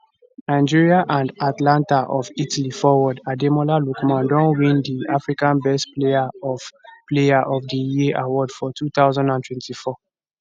nigeria and atalanta of italy forward ademola lookman don win di africa best player of player of di year award for 2024